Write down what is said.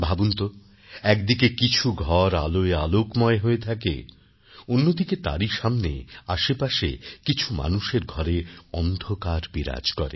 ভাবুন তো একদিকে কিছু ঘর আলোয় আলোকময় হয়ে থাকে অন্যদিকে তারই সামনে আশেপাশে কিছু মানুষের ঘরে অন্ধকার বিরাজ করে